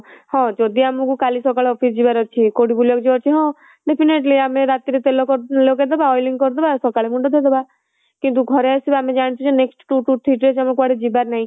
ହଁ ଯଦି ଆମକୁ କାଲି ସକାଳେ office ଯିବା ର ଅଛି କୁଆଡେ ବୁଲିବାକୁ ଯିବାର ଅଛି ହଁ definitely ଆମେ ରାତି ରେ ତେଲ ଲଗେଇଦେବା oiling କରିଦେବା ସକାଳ ମୁଣ୍ଡ ଧୋଇଦେବା କିନ୍ତୁ ଘରେ ଆସିବା ଆମେ ଜାଣିଚୁ ଯେ next two to three days ଆମକୁ କୁଆଡେ ଯିବାର ନାହିଁ